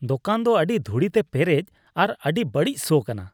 ᱫᱳᱠᱟᱱ ᱫᱚ ᱟᱹᱰᱤ ᱫᱷᱩᱲᱤᱛᱮ ᱯᱮᱨᱮᱡ ᱟᱨ ᱟᱹᱰᱤ ᱵᱟᱹᱲᱤᱡ ᱥᱚ ᱠᱟᱱᱟ ᱾